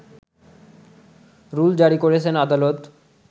rule জারি করেছেন আদালত